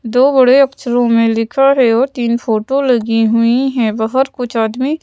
दो बड़े अक्षरों में लिखा है और तीन फोटो लगी हुई हैं बाहर कुछ आदमी--